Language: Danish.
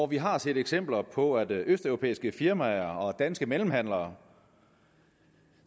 vi har set eksempler på at østeuropæiske firmaer og danske mellemhandlere